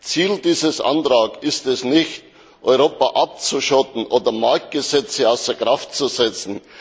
Ziel dieses Antrags ist es nicht, Europa abzuschotten oder Marktgesetze außer Kraft zu setzen.